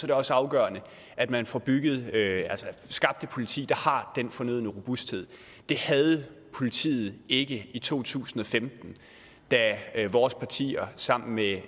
det også afgørende at man får skabt et politi der har den fornødne robusthed det havde politiet ikke i to tusind og femten da vores partier sammen med